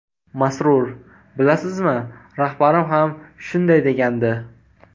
Masrur: – Bilasizmi, rahbarim ham shunday degandi.